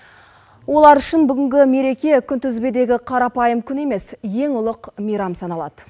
олар үшін бүгінгі мереке күнтізбедегі қарапайым күн емес ең ұлық мейрам саналады